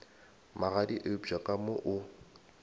magadi eupša ka mo o